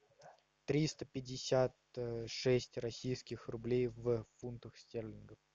триста пятьдесят шесть российских рублей в фунтах стерлингов